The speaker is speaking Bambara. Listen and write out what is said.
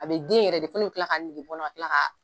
A be den yɛrɛ de fɔ ne bi kila ka kɔnɔ ka kila ka